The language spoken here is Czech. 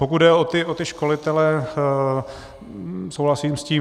Pokud jde o ty školitele, souhlasím s tím.